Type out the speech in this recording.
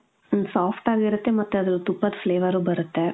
ಮ್ಮ್, soft ಆಗಿ ಇರುತ್ತೆ ಮತ್ತೆ ತುಪ್ಪದ್ Flavour ಬರುತ್ತೆ .